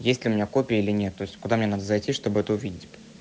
есть у меня копия или то есть куда мне надо зайти чтобы это увидеть